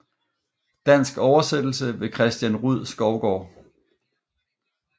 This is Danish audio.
Dansk oversættelse ved Christian Rud Skovgaard